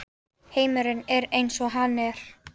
Heimurinn er eins og hann er.